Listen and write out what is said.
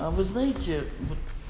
а вы знаете вот